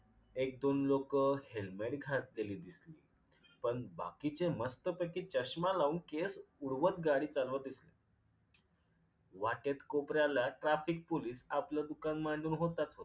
एक दोन लोक helmet घातलेली दिसली पन बाकीचे मस्तपैकी चष्मा लाऊन केस उडवत गाडी चालवत. वाटेत कोपऱ्याला traffic पोलीस आपल दुकान मांडून होताच.